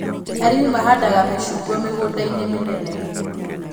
Arĩmi mahandaga mĩcungwa mĩgũnda-inĩ mĩnene